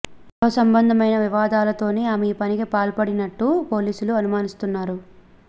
గృహ సంబంధమైన వివాదాలతోనే ఆమె ఈ పనికి పాల్పడినట్టు పోలీసులు అనుమానిస్తున్నారు